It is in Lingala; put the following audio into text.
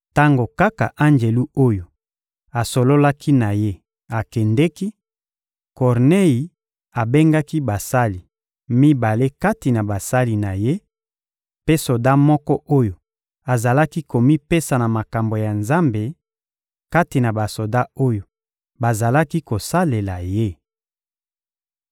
Tango kaka anjelu oyo asololaki na ye akendeki, Kornei abengaki basali mibale kati na basali na ye, mpe soda moko oyo azalaki komipesa na makambo ya Nzambe, kati na basoda oyo bazalaki kosalela ye.